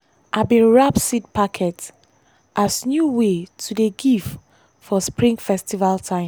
i bin wrap seed packet as new way to dey give for spring festival time.